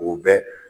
U bɛ